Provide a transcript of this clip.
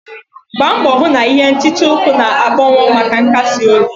Gbaa mbọ hụ na ihe nhicha uku na-akpọnwụ maka nkasi obi.